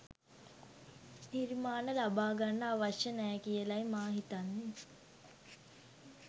නිර්මාණ ලබා ගන්න අවශ්‍ය නෑ කියලයි මා හිතන්නේ.